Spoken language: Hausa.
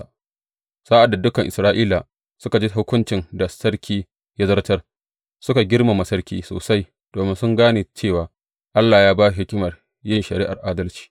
Sa’ad da dukan Isra’ila suka ji hukuncin da sarki ya zartar, suka girmama sarki sosai, domin sun gane cewa Allah ya ba shi hikimar yin shari’ar adalci.